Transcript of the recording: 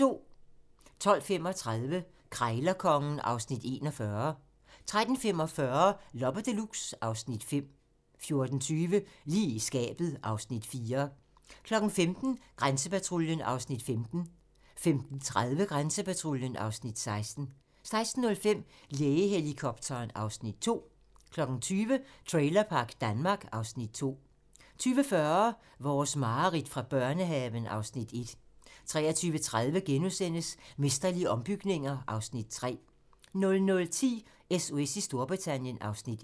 12:35: Krejlerkongen (Afs. 41) 13:45: Loppe Deluxe (Afs. 5) 14:20: Lige i skabet (Afs. 4) 15:00: Grænsepatruljen (Afs. 15) 15:30: Grænsepatruljen (Afs. 16) 16:05: Lægehelikopteren (Afs. 2) 20:00: Trailerpark Danmark (Afs. 2) 20:40: Vores mareridt fra børnehaven (Afs. 1) 23:30: Mesterlige ombygninger (Afs. 3)* 00:10: SOS i Storbritannien (Afs. 1)